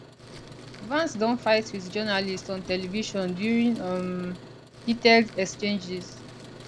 vance don fight wit journalists on television during um heated exchanges